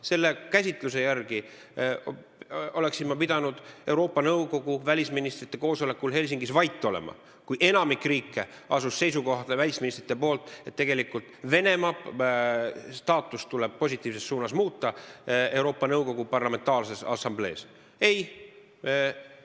Teie käsitluse järgi oleksin ma pidanud Euroopa Nõukogu välisministrite koosolekul Helsingis vait olema, kui enamik riike asus seisukohale, et Venemaa staatust Euroopa Nõukogu Parlamentaarses Assamblees tuleb positiivses suunas muuta.